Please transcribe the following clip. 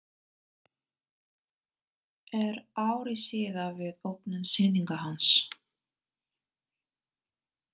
Er ári síðar við opnun sýningar hans.